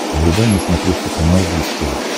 врубай на смотрешке канал бридж тв